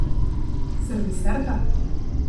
Serviserka?